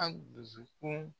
An dusukun